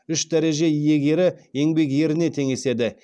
үш дәреже иегері еңбек еріне теңеседі